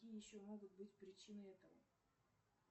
какие еще могут быть причины этого